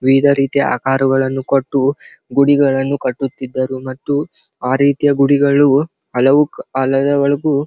ವಿವಿಧ ರೀತಿಯ ಆಕಾರಗಳನ್ನು ಕೊಟ್ಟು ಗುಡಿಗಳನ್ನು ಕಟ್ಟುತ್ತಿದ್ದರು ಮತ್ತು ಆ ರೀತಿಯ ಗುಡಿಗಳು ಹಲವು .]